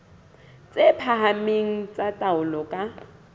tse phahameng tsa taolo ka